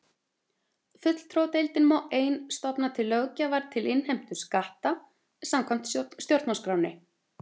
Fulltrúadeildin má ein stofna til löggjafar til innheimtu skatta samkvæmt stjórnarskránni.